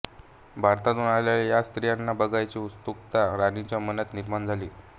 भारतातून आलेल्या या स्त्रीला बघण्याची उत्सुकता राणीच्या मनात निर्माण झाली